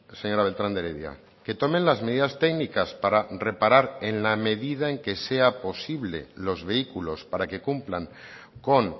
señora beltrán de heredia que tomen las medidas técnicas para reparar en la medida en que sea posible los vehículos para que cumplan con